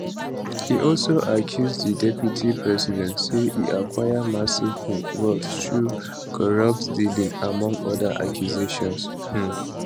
e also accuse di deputy president say e acquire massive um wealth through corrupt dealings among oda accusations um